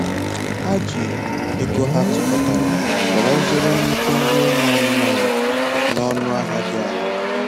Ha ji ego ha tukọtara were zụrụ nnukwu nri ụmụ anụmanụ na ọnụ ahịa dị ala